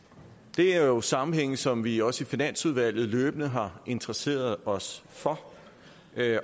det er jo en sammenhæng som vi også i finansudvalget løbende har interesseret os for